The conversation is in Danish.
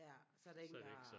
Ja så er der ingen der